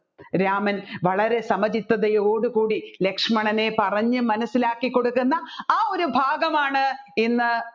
രാമൻ വളരെ സമചിത്തയോട് കൂടി ലക്ഷ്മണനെ പറഞ്ഞു മനസ്സിലാക്കി കൊടുക്കുന്ന ആ ഒരു ഭാഗമാണ് ഇന്ന്